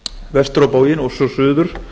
vestur á bóginn og svo suður